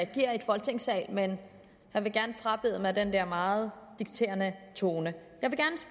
agere i folketingssalen men jeg vil gerne frabede mig den der meget dikterende tone jeg vil